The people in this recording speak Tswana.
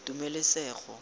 tumelesego